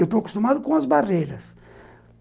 Eu estou acostumado com as barreiras.